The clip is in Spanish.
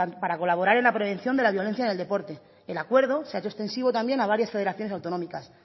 para colaborar en la prevención de la violencia en el deporte el acuerdo se ha hecho extensivo también a varias federaciones autonómicas